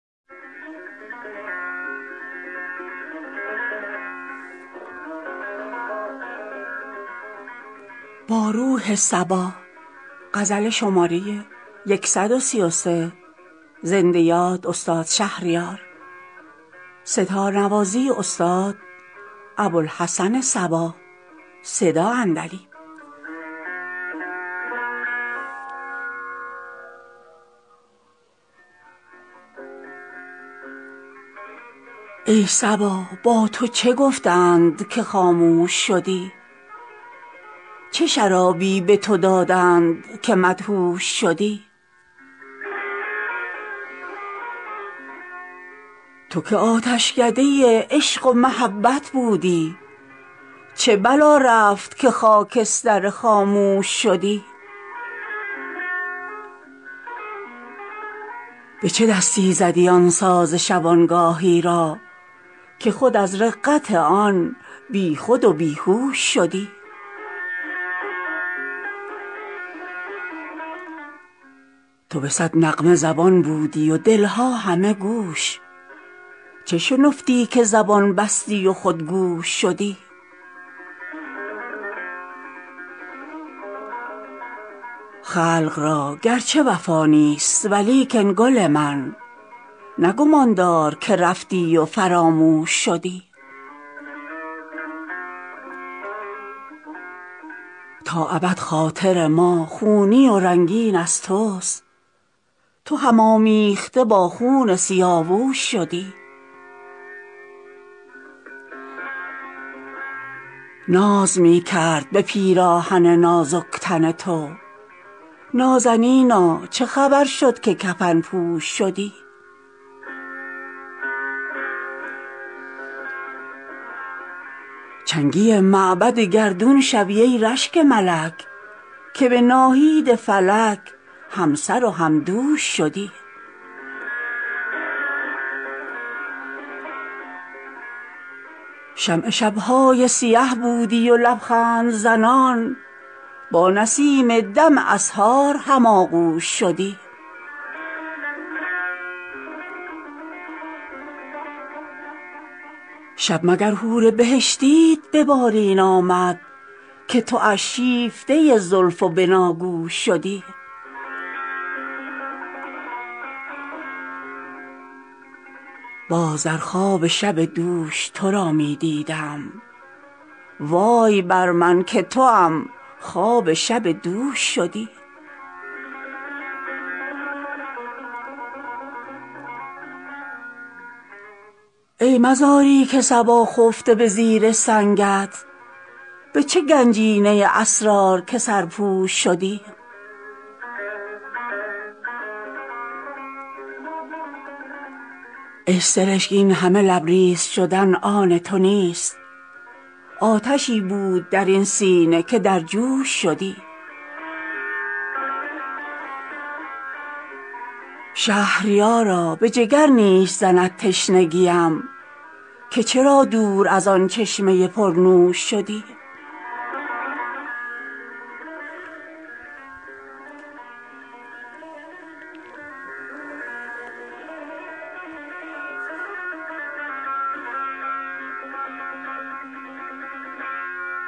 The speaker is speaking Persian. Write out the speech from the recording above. ای صبا با تو چه گفتند که خاموش شدی چه شرابی به تو دادند که مدهوش شدی تو که آتشکده عشق و محبت بودی چه بلا رفت که خاکستر خاموش شدی به چه دستی زدی آن ساز شبانگاهی را که خود از رقت آن بی خود و بی هوش شدی تو به صد نغمه زبان بودی و دل ها همه گوش چه شنفتی که زبان بستی و خود گوش شدی خلق را گرچه وفا نیست و لیکن گل من نه گمان دار که رفتی و فراموش شدی تا ابد خاطر ما خونی و رنگین از تست تو هم آمیخته با خون سیاوش شدی ناز می کرد به پیراهن نازک تن تو نازنینا چه خبر شد که کفن پوش شدی چنگی معبد گردون شوی ای رشک ملک که به ناهید فلک همسر و همدوش شدی شمع شب های سیه بودی و لبخندزنان با نسیم دم اسحار هم آغوش شدی شب مگر حور بهشتیت به بالین آمد که تواش شیفته زلف و بناگوش شدی باز در خواب شب دوش ترا می دیدم وای بر من که توام خواب شب دوش شدی ای مزاری که صبا خفته به زیر سنگت به چه گنجینه اسرار که سرپوش شدی ای سرشگ اینهمه لبریز شدن آن تو نیست آتشی بود در این سینه که در جوش شدی شهریارا به جگر نیش زند تشنگیم که چرا دور از آن چشمه پرنوش شدی